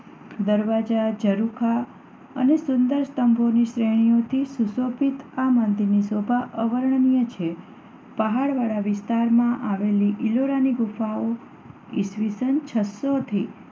દરવાજા, ઝરૂખા અને સુંદર સ્તંભોની શ્રેણીઓથી સુશોભિત આ મંદિરની શોભા અવર્ણનીય છે. પહાડવાળા વિસ્તારમાં આવેલી ઈલોરાની ગુફાઓ ઈસ્વીસન છસ્સોથી